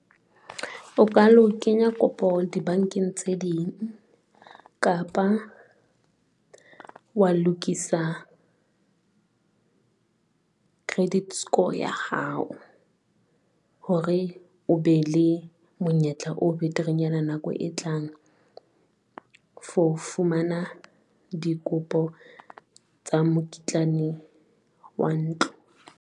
O ka lo kenya kopo dibankeng tse ding kapa wa lokisa credit score ya hao hore o be le monyetla, o beterenyana nako e tlang for fumana dikopo tsa mokitlane wa ntlo.